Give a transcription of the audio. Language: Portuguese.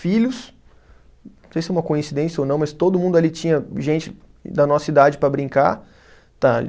filhos, não sei se é uma coincidência ou não, mas todo mundo ali tinha gente da nossa idade para brincar, tá?